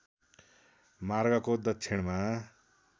मार्गको दक्षिणमा